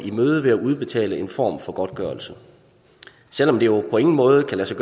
i møde ved at udbetale en form for godtgørelse selv om det jo på ingen måde kan